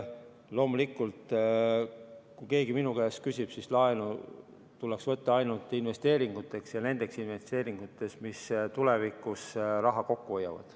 Loomulikult, kui keegi minu käest küsib, siis laenu tuleks minu meelest võtta ainult investeeringuteks ja just nendeks investeeringuteks, mis tulevikus raha kokku hoiavad.